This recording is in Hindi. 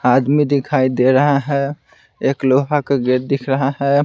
आदमी दिखाई दे रहा है एक लोहा का गेट दिख रहा है।